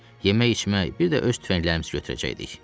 Yemək-içmək, bir də öz tüfənglərimizi götürəcəkdik.